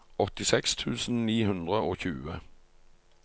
åttiseks tusen ni hundre og tjue